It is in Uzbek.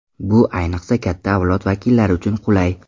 Bu ayniqsa katta avlod vakillari uchun qulay!